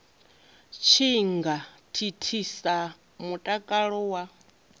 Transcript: tshi nga thithisa mutakalo wa